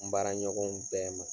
N baaraɲɔgɔnw bɛɛ ma